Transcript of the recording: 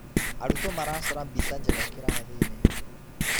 Arutwo maracora mbica njega kĩrathi-inĩ.